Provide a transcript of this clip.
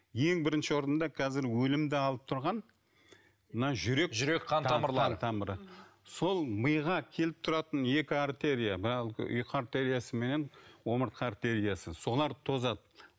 ең бірінші орында қазір өлімді алып тұрған мына жүрек жүрек қан тамырлары тамыры сол миға келіп тұратын екі артерия ұйқы артериясы мен омыртқа артериясы солар тозады